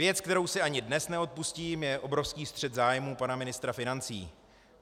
Věc, kterou si ani dnes neodpustím, je obrovský střet zájmů pana ministra financí.